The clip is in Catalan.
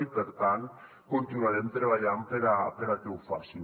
i per tant continuarem treballant perquè ho facin